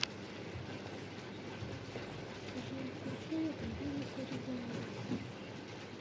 джой включи муниса ризаева